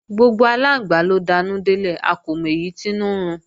Gbogbo aláǹgbá ló danú délẹ̀, a kò mọ èyí tínú ń run